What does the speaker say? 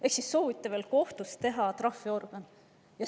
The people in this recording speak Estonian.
Ehk siis soovite veel kohtust teha trahviorgani.